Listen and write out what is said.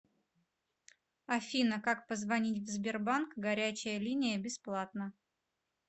афина как позвонить в сбербанк горячая линия бесплатно